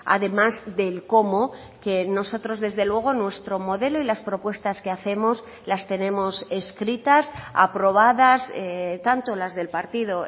además del cómo que nosotros desde luego nuestro modelo y las propuestas que hacemos las tenemos escritas aprobadas tanto las del partido